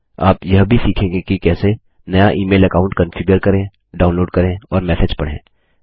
आप यह भी सीखेंगे कि कैसे160 नया इमेल अकाऊंट कान्फिगर करेंडाऊनलोड करें और मैसेज पढ़ें